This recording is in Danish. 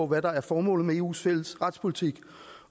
hvad der er formålet med eus fælles retspolitik